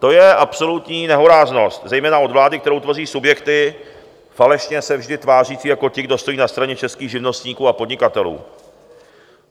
To je absolutní nehoráznost, zejména od vlády, kterou tvoří subjekty falešně se vždy tvářící jako ti, kdo stojí na straně českých živnostníků a podnikatelů.